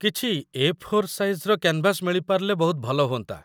କିଛି 'A. Four ସାଇଜ୍‌'ର canvas ମିଳି ପାରିଲେ ବହୁତ ଭଲ ହୁଅନ୍ତା ।